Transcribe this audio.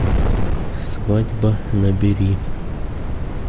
свадьба набери